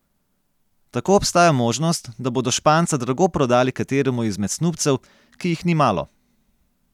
Tako obstaja možnost, da bodo Španca drago prodali kateremu izmed snubcev, ki jih ni malo.